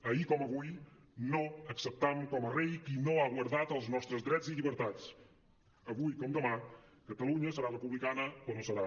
ahir com avui no acceptam com a rei qui no ha guardat els nostres drets i llibertats avui com demà catalunya serà republicana o no serà